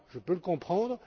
Je peux le comprendre.